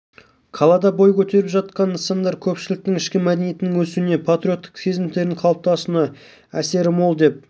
қалада бой көтеріп жатқан нысандар көпшіліктің ішкі мәдениетінің өсуіне патриоттық сезімдерінің қалыптасуына әсері мол деп